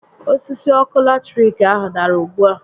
Osisi ọkụ latiriki ahụ dàrà ugbu a